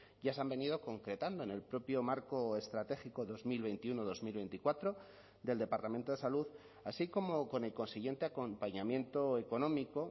ya se han venido concretando en el propio marco estratégico dos mil veintiuno dos mil veinticuatro del departamento de salud así como con el consiguiente acompañamiento económico